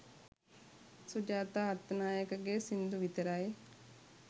සුජාතා අත්තනායකගේ සිංදු විතරයි